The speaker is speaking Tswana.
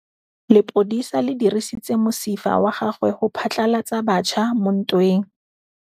Lepodisa le dirisitse mosifa wa gagwe go phatlalatsa batšha mo ntweng.